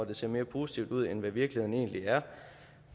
det ser mere positivt ud end hvad virkeligheden egentlig er